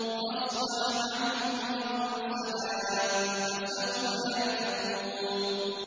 فَاصْفَحْ عَنْهُمْ وَقُلْ سَلَامٌ ۚ فَسَوْفَ يَعْلَمُونَ